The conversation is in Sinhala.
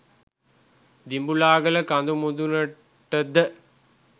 දිඹුලාගල කඳු මුදුනට ද